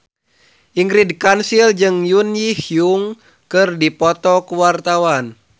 Ingrid Kansil jeung Jun Ji Hyun keur dipoto ku wartawan